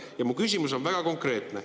Ja mu küsimus on väga konkreetne.